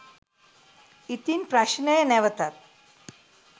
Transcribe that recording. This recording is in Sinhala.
ඉතින් ප්‍රශ්නය නැවතත්